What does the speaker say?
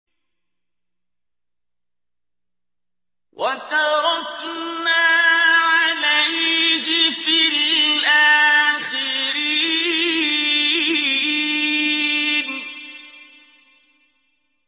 وَتَرَكْنَا عَلَيْهِ فِي الْآخِرِينَ